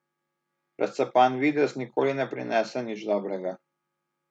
Razcapan videz nikoli ne prinese nič dobrega.